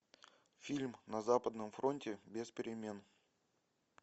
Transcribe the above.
фильм на западном фронте без перемен